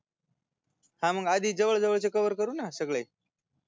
हा मग आधी जवळ जवळ चे COVER करु ना सगळे